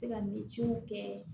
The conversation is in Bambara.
Se ka kɛ